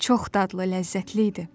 Çox dadlı, ləzzətli idi.